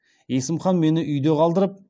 есім хан мені үйде қалдырып